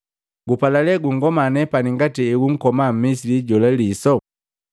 ‘Boo, gupala lee kungoma nepani ngati heunkoma Mmisili jola liso?’